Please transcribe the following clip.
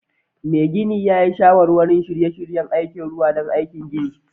Mai gini yi shawarwari n shirye-shiryen ruwa don aikin ginin